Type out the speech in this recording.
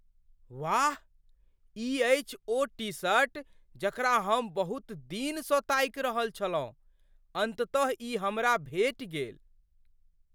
वाह! ई अछि ओ टी शर्ट जकरा हम बहुत दिनसँ ताकि रहल छलहुँ। अन्ततः ई हमरा भेटि गेल।